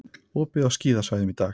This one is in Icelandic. Opið á skíðasvæðum í dag